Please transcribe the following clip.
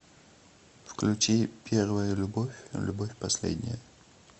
включи первая любовь любовь последняя